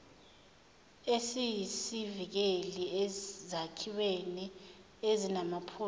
esiyisivikeli ezakhiweni ezinamaphutha